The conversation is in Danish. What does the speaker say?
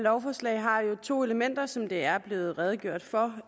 lovforslag har to elementer som der er blevet redegjort for